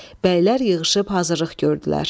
Bəylər yığışıb hazırlıq gördülər.